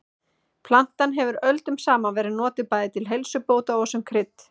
Plantan hefur öldum saman verið notuð bæði til heilsubóta og sem krydd.